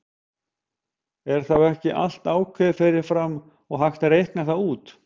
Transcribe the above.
Er þá ekki allt ákveðið fyrir fram og hægt að reikna það út?